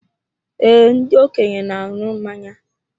Ee, ndị okenye na aṅụ mmanya